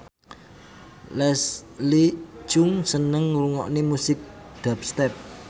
Leslie Cheung seneng ngrungokne musik dubstep